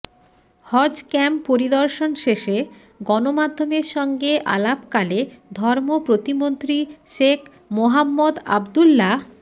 হজক্যাম্প পরিদর্শন শেষে গণমাধ্যমের সঙ্গে আলাপকালে ধর্ম প্রতিমন্ত্রী শেখ মোহাম্মদ আবদুল্লাহ